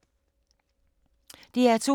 DR2